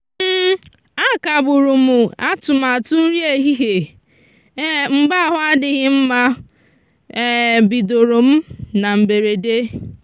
a kagburu m atụmatụ nri ehihie mgbe ahụ adịghị mma bidoro m na mberede.